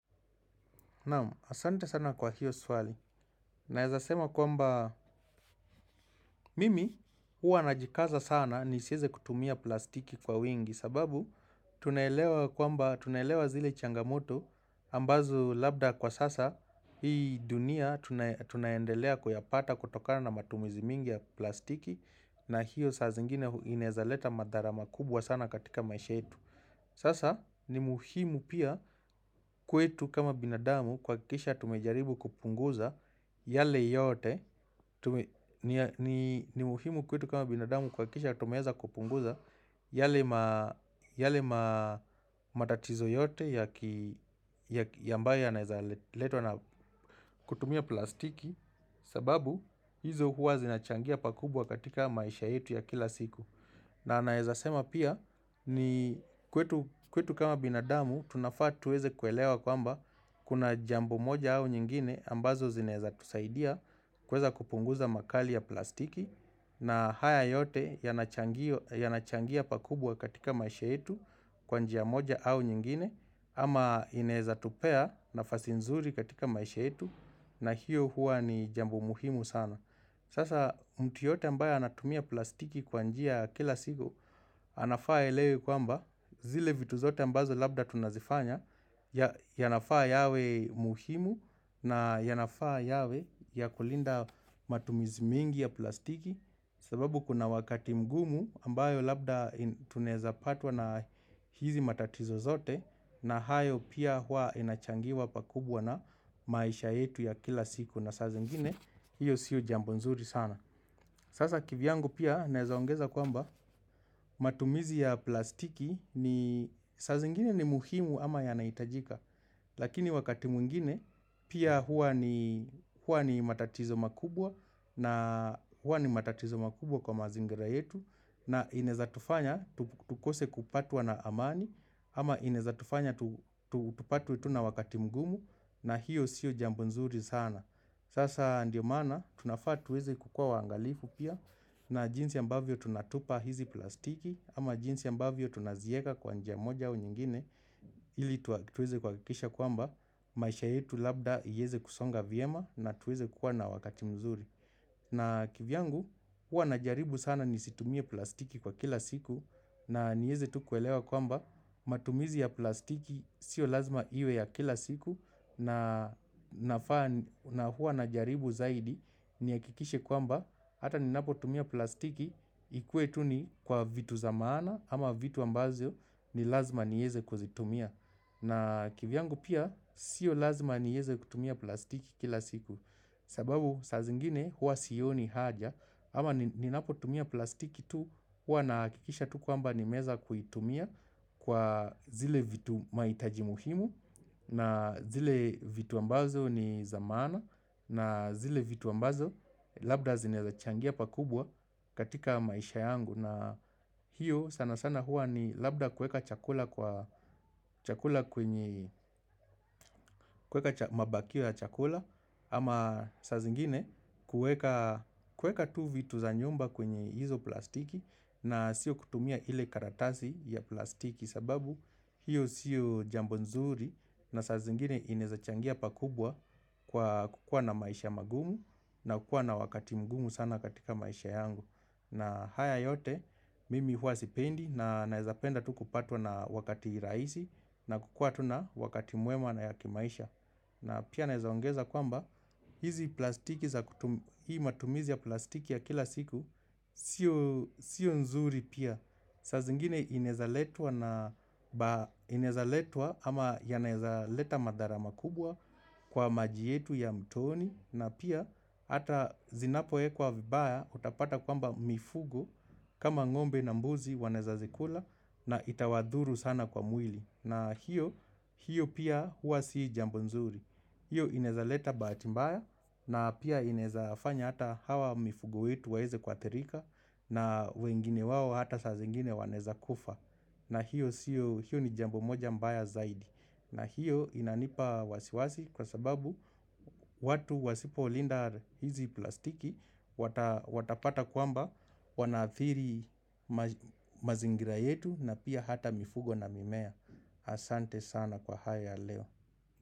Naam, asante sana kwa hiyo swali. Naezasema kwamba mimi huwa najikaza sana nisieze kutumia plastiki kwa wingi sababu tunaelewa kwamba tunaelewa zile changamoto ambazo labda kwa sasa. Hii dunia tunandelea kuyapata kutokana na matumizi mingi ya plastiki na hiyo saa zingine inaezaleta madhara makubwa sana katika maisha yetu. Sasa ni muhimu pia kwetu kama binadamu kuhakikisha tumejaribu kupunguza yale yote ni muhimu kwetu kama binadamu kuhakikisha tumeeza kupunguza yale matatizo yote ambayo yanaeza letwa na kutumia plastiki sababu hizo huwa zinachangia pakubwa katika maisha yetu ya kila siku na naezasema pia kwetu kama binadamu tunafaa tuweze kuelewa kwamba kuna jambo moja au nyingine ambazo zinaeza tusaidia kuweza kupunguza makali ya plastiki na haya yote yanachangia pakubwa katika maisha yetu kwa njia moja au nyingine ama inaeza tupea nafasi nzuri katika maisha yetu na hiyo hua ni jambo muhimu sana. Sasa mtu yeyote ambaye anatumia plastiki kwa njia ya kila siku, anafaa aelewe kwamba zile vitu zote ambazo labda tunazifanya, yanafaa yawe muhimu na yanafaa yawe ya kulinda matumizi mingi ya plastiki. Sababu kuna wakati mgumu ambayo labda tunezapatwa na hizi matatizo zote na hayo pia hua inachangiwa pakubwa na maisha yetu ya kila siku na saa ingine hiyo siu jambo nzuri sana. Sasa kivyangu pia naezaongeza kwamba matumizi ya plastiki ni saa zingine ni muhimu ama yanaitajika Lakini wakati mwingine pia hua ni matatizo makubwa na hua ni matatizo makubwa kwa mazingira yetu na inaezatufanya tukose kupatwa na amani ama inaezatufanya tupatwe tu na wakati mugumu na hiyo siyo jambo nzuri sana. Sasa ndio maana tunafaa tuweze kukua waangalifu pia na jinsi ambavyo tunatupa hizi plastiki ama jinsi ambavyo tunazieka kwa njia moja au nyingine ili tuweze kuhakikisha kwamba maisha yetu labda yaeze kusonga vyema na tuweze kuwa na wakati mzuri. Na kivyangu hua najaribu sana nisitumie plastiki kwa kila siku na nieze tu kuelewa kwamba matumizi ya plastiki sio lazima iwe ya kila siku na hua najaribu zaidi nihakikishe kwamba hata ninapo tumia plastiki ikue tu ni kwa vitu za maana ama vitu ambazo ni lazima nieze kuzitumia. Na kivyangu pia sio lazima nieze kutumia plastiki kila siku sababu saa zingine huwa sioni haja ama ninapotumia plastiki tu huwa nahakikisha tu kwamba nimeeza kuitumia Kwa zile vitu mahitaji muhimu na zile vitu ambazo ni za maana na zile vitu ambazo labda zinaezachangia pakubwa katika maisha yangu na hiyo sana sana hua ni labda kuweka chakula kwenye kuweka mabakio ya chakula Ama saa zingine kuweka tu vitu za nyumba kwenye hizo plastiki na sio kutumia ile karatasi ya plastiki sababu hiyo sio jambo nzuri na saa zingine inaezachangia pakubwa kukua na maisha magumu na kukua na wakati mgumu sana katika maisha yangu na haya yote mimi hua sipendi na naezapenda tu kupatwa na wakati rahisi na kukua tu na wakati mwema na ya kimaisha na pia naezaongeza kwamba hizi plastiki za hii matumizi ya plastiki ya kila siku sio nzuri pia saa zingine inaezaletwa ama yanaezaleta madhara makubwa kwa maji yetu ya mtoni na pia hata zinapowekwa vibaya utapata kwamba mifugo kama ngombe na mbuzi wanaeza zikula na itawadhuru sana kwa mwili. Na hiyo pia hua si jambo nzuri. Hiyo inaezaleta bahati mbaya na pia inaezafanya hata hawa mifugo wetu waeze kuathirika na wengine wao hata saa zingine wanaeza kufa. Na hiyo siyo ni jambo moja mbaya zaidi. Na hiyo inanipa wasiwasi kwa sababu watu wasipolinda hizi plastiki watapata kwamba wanaathiri mazingira yetu na pia hata mifugo na mimea. Asante sana kwa haya leo.